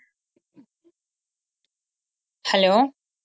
hello